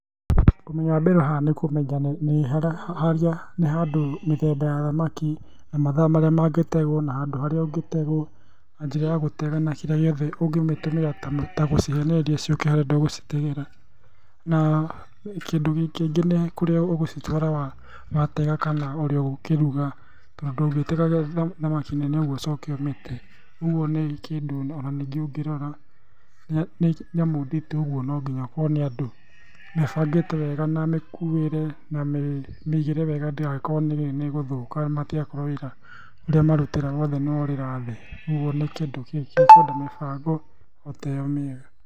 Ũmenyo wa mbere haha ni kũmenya nĩ haria nĩ handũ mĩthemba ya thamaki, na mathaa marĩa mangĩtegũo na handũ harĩa ũngĩtegũo, na njĩra ya gũtega na kĩrĩa gĩothe ũngĩmĩtũmĩra ta gũcihenereria ciũke harĩa ũrenda gũcitegera. Na kĩndũ kĩngĩ nĩ kũrĩa ũgũcitwara watega kana ũrĩa ũgũkĩruga tondũ ndũngĩtega thamaki nene ũguo ũcoke ũmĩte. Ũguo nĩ kĩndũ ona ningĩ ũngĩrora, nĩ nyamũ nditũ ũguo no nginya ũkorwo na andũ nĩ ũbangĩte wega na mĩkuĩre, mĩigĩre wega ndĩgagĩkorwo nĩ ĩgũthũka, matigakorwo wĩra ũrĩa wothe marutire nĩ worĩra thĩ. Ũguo nĩ kĩndũ gĩkwenda mĩbango ota ĩyo mĩega.